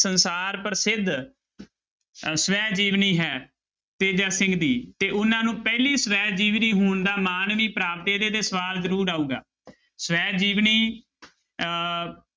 ਸੰਸਾਰ ਪ੍ਰਸਿੱਧ ਅਹ ਸਵੈ ਜੀਵਨੀ ਹੈ ਤੇਜਾ ਸਿੰਘ ਦੀ ਤੇ ਉਹਨਾਂ ਨੂੰ ਪਹਿਲੀ ਸਵੈ ਜੀਵਨੀ ਹੋਣ ਦਾ ਮਾਣ ਵੀ ਪ੍ਰਾਪਤ ਇਹਦੇ ਤੇ ਸਵਾਲ ਜ਼ਰੂਰ ਆਊਗਾ ਸਵੈ ਜੀਵਨੀ ਅਹ